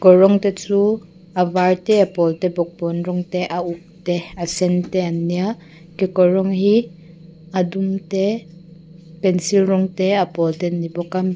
kawr rawng te chu a var te a pawl te bawkbawn rawng te a uk te a sen te an nia kekawr rawng hi a dum te pencil rawng te a pawl te an ni bawk a.